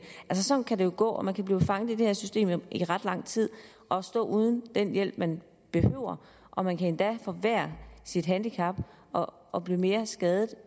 sådan kan det gå og man kan blive fanget i det her system i ret lang tid og stå uden den hjælp man behøver og man kan endda forværret sit handicap og blive mere skadet